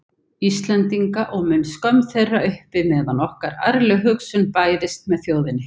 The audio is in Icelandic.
Íslendinga, og mun skömm þeirra uppi meðan nokkur ærleg hugsun bærist með þjóðinni.